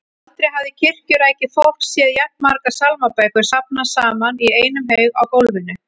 Aldrei hafði kirkjurækið fólk séð jafn margar sálmabækur safnast saman í einum haug á gólfinu.